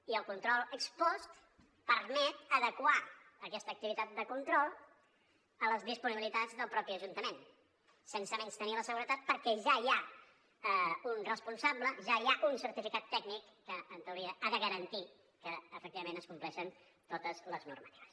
i el control ex post permet adequar aquesta activitat de control a les disponibilitats del mateix ajuntament sense menystenir la seguretat perquè ja hi ha un responsable ja hi ha un certificat tècnic que en teoria ha de garantir que efectivament es compleixen totes les normatives